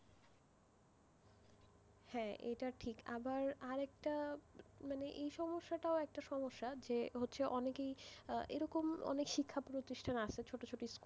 হ্যাঁ এটা ঠিক আরেকটা মানে এই সমস্যাটাই একটা সমস্যা যে হচ্ছে অনেকেই এরকম শিক্ষাপ্রতিষ্ঠান আছে, ছোট ছোট school,